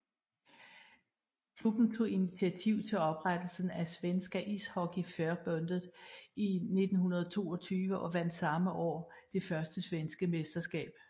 Klubben tog initiativ til oprettelsen af Svenska Ishockeyförbundet i 1922 og vandt samme år det første svenske mesterskab